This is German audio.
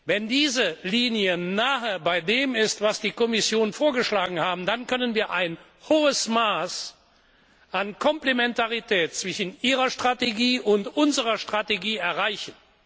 Wenn diese Linie nahe bei dem ist, was die Kommission vorgeschlagen hat, dann können wir ein hohes Maß an Komplementarität zwischen ihrer Strategie und unserer Strategie erreichen.